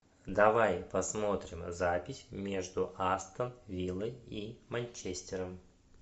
давай посмотрим запись между астон виллой и манчестером